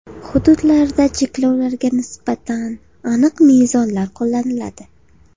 Hududlarda cheklovlarga nisbatan aniq mezonlar qo‘llaniladi.